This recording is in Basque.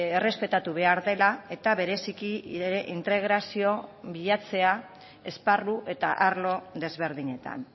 errespetatu behar dela eta bereziki integrazioa bilatzea esparru eta arlo ezberdinetan